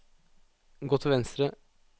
gå til venstre